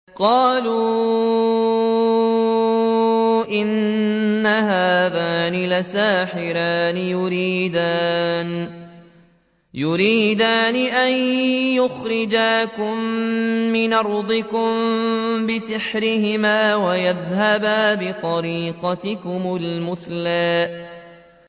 قَالُوا إِنْ هَٰذَانِ لَسَاحِرَانِ يُرِيدَانِ أَن يُخْرِجَاكُم مِّنْ أَرْضِكُم بِسِحْرِهِمَا وَيَذْهَبَا بِطَرِيقَتِكُمُ الْمُثْلَىٰ